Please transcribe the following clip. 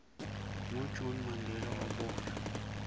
ngo june mandela waboshwa